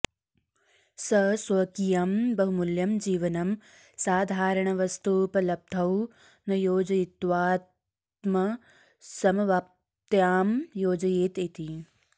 स स्वकीयं बहुमूल्यं जीवनं साधारणवस्तूपलब्धौ न योजयित्वाऽऽत्मसमवाप्त्यां योजयेत् इति